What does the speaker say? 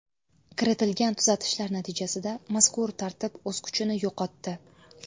Kiritilgan tuzatishlar natijasida mazkur tartib o‘z kuchini yo‘qotdi.